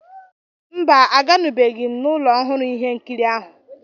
Mba, àgánùbeghi m n'ụlọ ọhụrụ ihe nkiri ahụ